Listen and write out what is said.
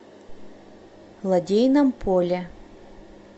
лодейном поле